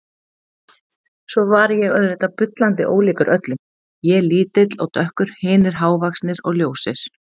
Svo var ég auðvitað bullandi ólíkur öllum, ég lítill og dökkur, hinir hávaxnir og ljósir.